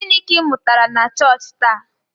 Gịnị ka ị mụtara na chọọchị taa?